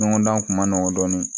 Ɲɔgɔndan kun ma nɔgɔn dɔɔnin